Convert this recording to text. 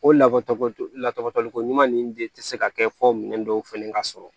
O la ko lakɔtali ko ɲuman nin de tɛ se ka kɛ fɔ minɛn dɔw fɛnɛ ka sɔrɔ